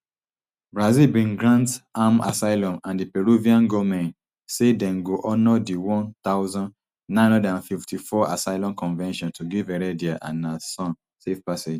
brazil bin grant am asylum and di peruvian goment say dem go honour di one thousand, nine hundred and fifty-four assylum convention to give heredia and her son safe passage